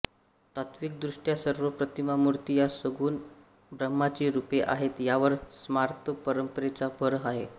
तात्विकदृष्ट्या सर्व प्रतिमा मूर्ति या सगुण ब्रह्माची रूपे आहेत यावर स्मार्त परंपरेचा भर आहे